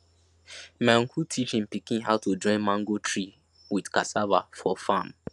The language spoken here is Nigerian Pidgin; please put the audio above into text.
my uncle teach him pikin how to join mango tree with cassava for farm